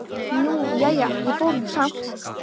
Nú, jæja, ég fór nú samt.